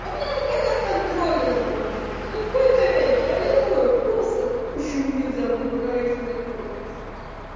у меня наконец контрольные закончились ну в кои-то веки аллилуйя просто почему нельзя было раньше закончить